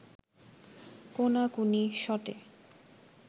কোনাকুনি শটে